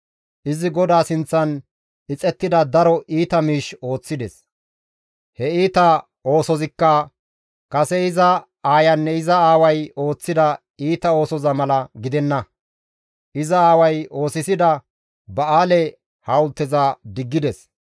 Izi GODAA sinththan ixettida daro iita miish ooththides; he iita oosozikka kase iza aayanne iza aaway ooththida iita oosoza mala gidenna; iza aaway oosisida ba7aale hawulteza diggides.